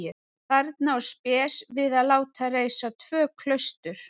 Þarna á Spes við að láta reisa tvö klaustur.